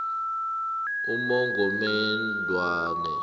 emagomedzwana